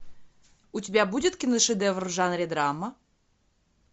у тебя будет киношедевр в жанре драма